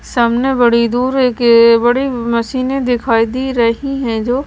सामने बड़ी दूर एक बड़ी मशीनें दिखाई दी रही हैं जो--